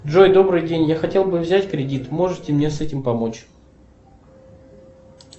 джой добрый день я хотел бы взять кредит можете мне с этим помочь